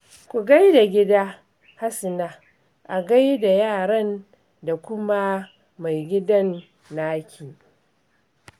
Ku gai da gida, Hasina. A gai da yaran da kuma maigidan naki